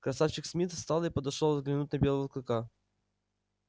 красавчик смит встал и подошёл взглянуть на белого клыка